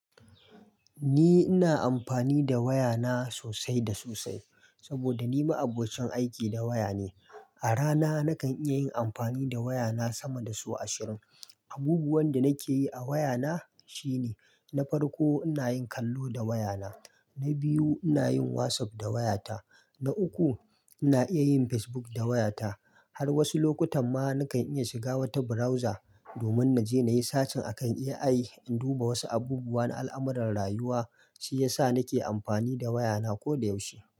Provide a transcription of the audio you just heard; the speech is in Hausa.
Ni ina amfani da wayana sosai da sosai saboda ni ma abokin aiki da waya ne. A rana nakan iya yin amfani da wayana sama da sau ashirin. Abubuwan da nake yi a wayana shine na farko, ina yin kallo da wayana. Na biyu, ina yin WhatsApp da wayata. Na uku, ina iya yin Facebook da wayata. Har wasu lokutan ma nakan iya shiga wata browser domin na je na yi sacin akan AI in duba wasu abubuwa na al'amuran rayuwa. Shi ya sa nake amfani da wayana koda yaushe.